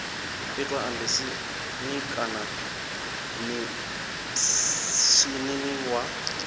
itwa embasini kana mishinini wa